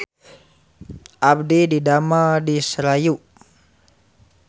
Abdi didamel di Serayu